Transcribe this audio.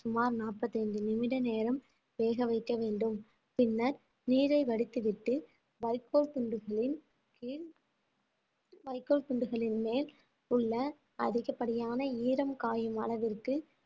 சுமார் நாற்பத்தி ஐந்து நிமிட நேரம் வேக வைக்க வேண்டும் பின்னர் நீரை வடித்துவிட்டு வைக்கோல் துண்டுகளின் கீழ் துண்டுகளின் மேல் உள்ள அதிகப்படியான ஈரம் காயும் அளவிற்கு